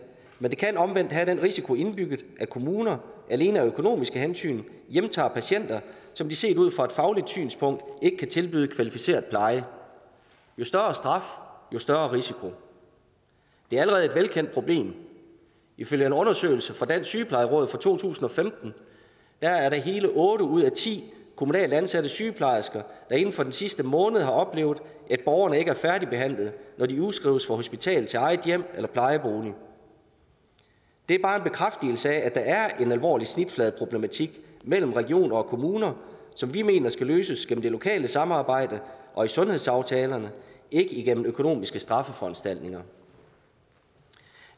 men det kan omvendt have den risiko indbygget at kommuner alene af økonomiske hensyn hjemtager patienter som de set ud fra et fagligt synspunkt ikke kan tilbyde kvalificeret pleje jo større straf jo større risiko det er allerede et velkendt problem ifølge en undersøgelse fra dansk sygeplejeråd fra to tusind og femten er det hele otte ud af ti kommunalt ansatte sygeplejersker der inden for den sidste måned har oplevet at borgerne ikke er færdigbehandlet når de udskrives fra hospitalet til eget hjem eller plejebolig det er bare en bekræftelse af at der er en alvorlig snitfladeproblematik mellem regioner og kommuner som vi mener skal løses gennem det lokale samarbejde og i sundhedsaftalerne ikke gennem økonomiske straffeforanstaltninger